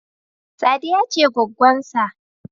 Sadiya ce goggonsa.